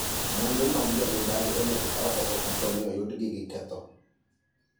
Muandu mag jo mibadhi onego kaw oko kaponi oyud gi gi ketho.